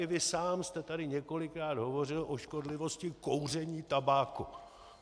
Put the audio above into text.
I vy sám jste tady několikrát hovořil o škodlivosti kouření tabáku.